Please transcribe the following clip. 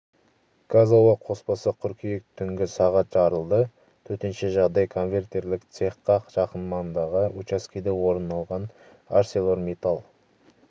газ-ауа қоспасы қыркүйек түнгі сағат жарылды төтенше жағдай конвертерлік цехқа жақын маңдағы учаскеде орын алған арселормиттал